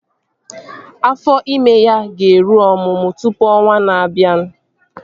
Afọ ime ya ga-eru ọmụmụ tụpụ ọnwaa na-abịa